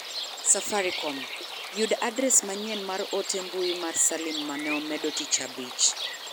safaricom. Yud adres manyien mar ote mbui mar salim mane amedo tich abich.